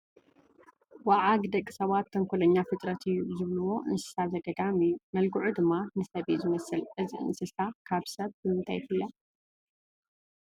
ወዓግ ደቂ ሰባት ተንኾለኛ ፍጥረት እዩ ዝብልዎ እንስሳ ዘገዳም እዩ፡፡ መልክዑ ድማ ንሰብ እዩ ዝመስል፡፡ እዚ እንስሳሳ ካብ ሰብ ብምንታይ ይፍለ?